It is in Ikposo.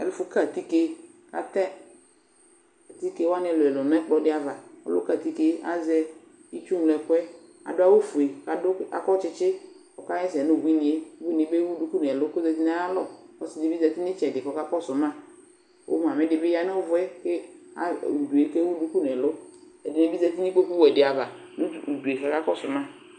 Ɛfʋka atike kʋ atɛ atike wanɩ ɛlʋ-ɛlʋ nʋ ɛkplɔ dɩ ava Ɔlʋka atike yɛ azɛ itsuŋlo ɛkʋ yɛ Adʋ awʋfue kʋ akɔ tsɩtsɩ kʋ ɔkaɣa ɛsɛ nʋ ubuinɩ yɛ Ubuinɩ yɛ bɩ ewu duku nʋ ɛlʋ kʋ ɔzati nʋ ayalɔ Ɔsɩ dɩ bɩ zati nʋ ɩtsɛdɩ kʋ ɔkakɔsʋ ma kʋ mamɩ dɩ bɩ ya nʋ ʋvʋ kʋ e a udu yɛ kʋ ewu duku nʋ ɛlʋ Ɛdɩnɩ bɩ zati nʋ ikpokuwɛ dɩ ava nʋ udu yɛ kʋ akakɔsʋ ma